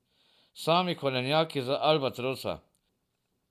Sami korenjaki z Albatrosa.